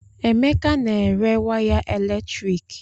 Emeka na-ere waya eletrik